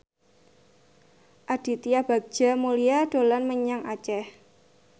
Aditya Bagja Mulyana dolan menyang Aceh